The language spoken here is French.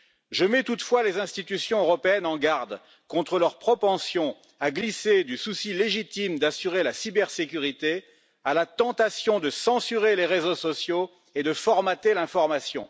Je mets toutefois les institutions européennes en garde contre leur propension à glisser du souci légitime d'assurer la cybersécurité à la tentation de censurer les réseaux sociaux et de formater l'information.